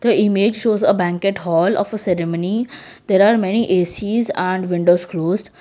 a image shows a banquet hall of a ceremony there are many A_C's and windows closed.